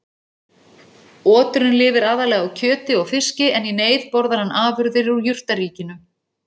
Oturinn lifir aðallega á kjöti og fiski en í neyð borðar hann afurðir úr jurtaríkinu.